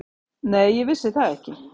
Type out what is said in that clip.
Nei, ég vissi það ekki.